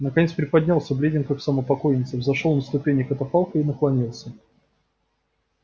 наконец приподнялся бледен как сама покойница взошёл на ступени катафалка и наклонился